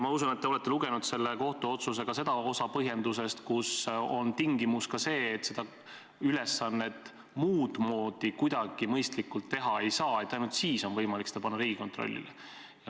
Ma usun, et te olete lugenud ka selle kohtuotsuse seda osa põhjendusest, kus on tingimus see, et ainult siis, kui seda ülesannet muud moodi kuidagi mõistlikult täita ei saa, on võimalik seda panna Riigikontrollile.